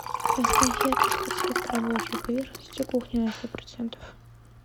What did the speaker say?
поставь яркость подсветка рабочей поверхности кухни на сто процентов